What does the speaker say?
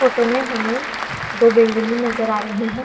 Photo में हमे दो बिल्डिंगे नज़र आ रही है ।